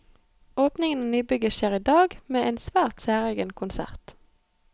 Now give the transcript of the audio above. Åpningen av nybygget skjer i dag, med en svært særegen konsert.